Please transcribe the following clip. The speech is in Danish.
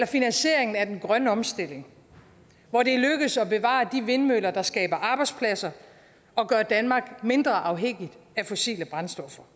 finansieringen af den grønne omstilling hvor det er lykkedes at bevare de vindmøller der skaber arbejdspladser og gør danmark mindre afhængigt af fossile brændstoffer